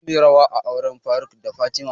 Za muyi rawa a auren faruk da fatima